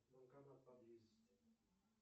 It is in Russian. банкомат поблизости